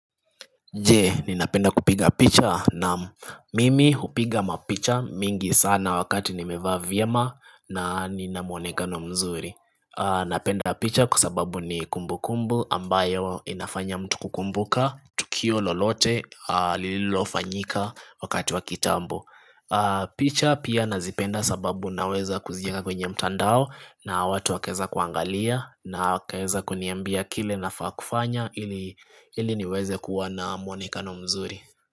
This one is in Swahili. Je, ninapenda kupiga picha na mimi hupiga mapicha mingi sana wakati nimevaa vyema na nina muonekano mzuri Napenda picha kwa sababu ni kumbukumbu ambayo inafanya mtu kukumbuka, tukio lolote, lililofanyika wakati wa kitambo picha pia nazipenda sababu naweza kuziweka kwenye mtandao na watu wakeza kuangalia na kaeza kuniambia kile nafaa kufanya ili niweze kuwa na mwonekano mzuri.